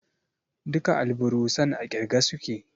Duka alburusan a ƙirge suke